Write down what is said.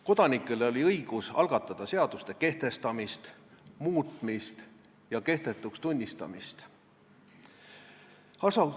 Kodanikel oli õigus algatada seaduste kehtestamist, muutmist ja kehtetuks tunnistamist.